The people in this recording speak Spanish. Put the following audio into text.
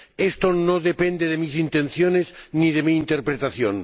Esto no depende de mis intenciones ni de mi interpretación.